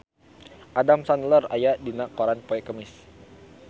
Adam Sandler aya dina koran poe Kemis